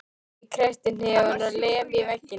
Ég kreppi hnefann og lem í vegginn.